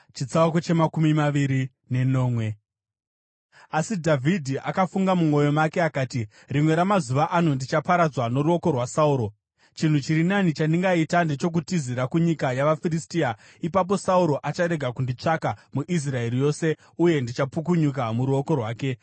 Asi Dhavhidhi akafunga mumwoyo make, akati, “Rimwe ramazuva ano ndichaparadzwa noruoko rwaSauro. Chinhu chiri nani chandingaita ndechokutizira kunyika yavaFiristia. Ipapo Sauro acharega kunditsvaka muIsraeri yose, uye ndichapukunyuka muruoko rwake.”